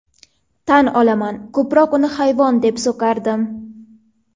Tan olaman ko‘proq uni hayvon deb so‘kardim.